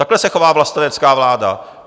Takhle se chová vlastenecká vláda!